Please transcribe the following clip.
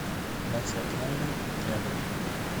на театральной рядом